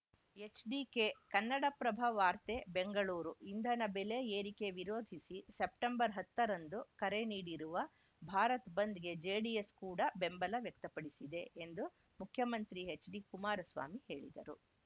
HDK Kannadaprabha ವಾರ್ತೆ ಬೆಂಗಳೂರು ಇಂಧನ ಬೆಲೆ ಏರಿಕೆ ವಿರೋಧಿಸಿ ಸೆಪ್ಟೆಂಬರ್‌ ಹತ್ತರಂದು ಕರೆ ನೀಡಿರುವ ಭಾರತ್‌ ಬಂದ್‌ಗೆ ಜೆಡಿಎಸ್‌ ಕೂಡ ಬೆಂಬಲ ವ್ಯಕ್ತಪಡಿಸಿದೆ ಎಂದು ಮುಖ್ಯಮಂತ್ರಿ ಎಚ್‌ಡಿ ಕುಮಾರಸ್ವಾಮಿ ಹೇಳಿದರು